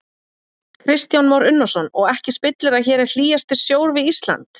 Kristján Már Unnarsson: Og ekki spillir að hér er hlýjasti sjór við Ísland?